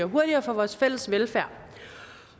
hurtigere for vores fælles velfærd